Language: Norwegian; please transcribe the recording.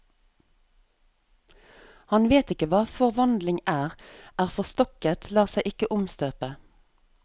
Han vet ikke hva forvandling er, er forstokket, lar seg ikke omstøpe.